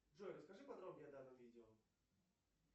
джой расскажи подробнее о данном видео